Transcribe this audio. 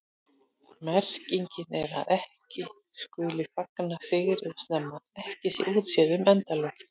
Merkingin er að ekki skuli fagna sigri of snemma, ekki sé útséð um endalokin.